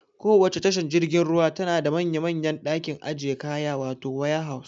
Kowacce tashar jirgin ruwa tana da manya manyan ɗakin ajiye kaya wato waya haus